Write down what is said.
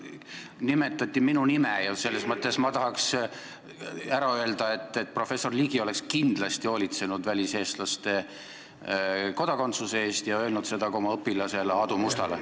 Siin nimetati minu nime ja nii ma tahaksin öelda, et professor Ligi oleks kindlasti hoolitsenud väliseestlaste kodakondsuse eest ja öelnud seda ka oma õpilasele Aadu Mustale.